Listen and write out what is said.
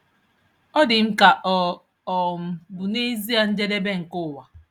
Ọ dị m ka ọ um bụ nezie njedebe nke ụwa.